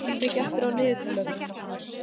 Blængur, hvað er mikið eftir af niðurteljaranum?